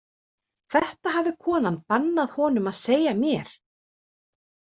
Þetta hafði konan bannað honum að segja mér.